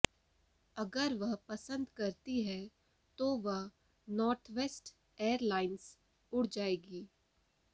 अगर वह पसंद करती है तो वह नॉर्थवेस्ट एयरलाइंस उड़ जाएगी